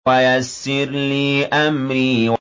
وَيَسِّرْ لِي أَمْرِي